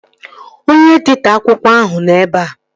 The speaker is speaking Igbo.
Onye editọ akwụkwọ ahụ nọ ebea